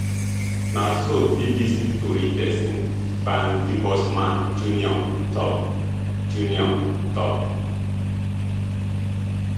na so bbc tori pesin bernd debusmann jr tok jr tok